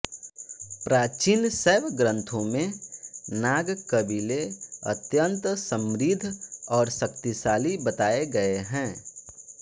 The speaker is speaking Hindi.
प्राचीन शैव ग्रंथों में नाग कबीले अत्यंत समृद्ध और शक्तिशाली बताये गए है